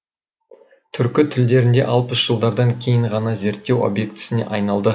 түркі тілдерінде алпыс жылдардан кейін ғана зерттеу объектісіне айналды